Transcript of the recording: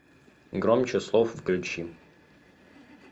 громче слов включи